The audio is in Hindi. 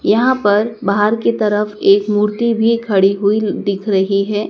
यहां पर बाहर की तरफ एक मूर्ति भी खड़ी हुई दिख रही है।